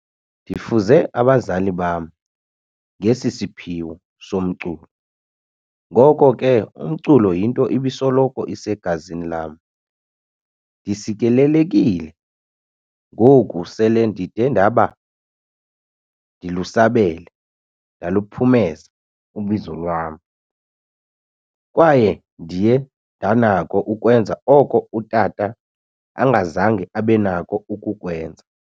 Ndifuze abazali bam ngesi siphiwo somculo, ngoko ke umculo yinto ebisoloko isegazini lam. Ndisikelelekile ngoku sele ndide ndabe ndilusabele ndaluphumeza ubizo lwam, kwaye ndiye ndanakho ukwenza oko utata angazange abenakho ukukwenza."